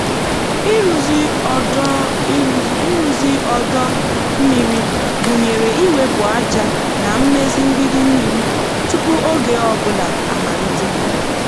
ịrụzi ọdọ ịrụzi ọdọ mmiri gụnyere iwepụ ájá na imezi mgbidi mmiri tupu oge ọ bụla amalite.